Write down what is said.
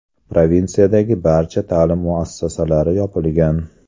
Provinsiyadagi barcha ta’lim muassasalari yopilgan.